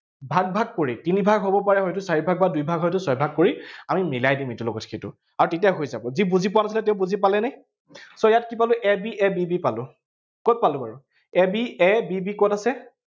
ভাগ ভাগ কৰি, তিনি ভাগ হব পাৰে হয়তো, চাৰি ভাগ বা দুই ভাগ হয়তো, ছয় ভাগ কৰি আমি মিলাই দিম ইটোৰ লগত সিটো। আৰু তেতিয়া হৈ যাব। যি বুজি পোৱা নাছিলে, তেওঁ বুজি পালেনে? so ইয়াত কি পালো, a b, a b b পালো, কত পালো বাৰু a b, a b b কত আছে?